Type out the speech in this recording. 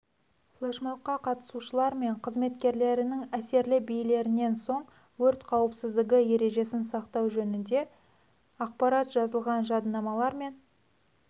флешмобқа қатысушылар мен қызметкерлерінің әсерлі билерінен соң өрт қауіпсіздігі ережесін сақтау жөнінде ақпарат жазылған жадынамалар мен